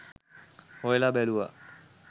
හොයල බැලුවා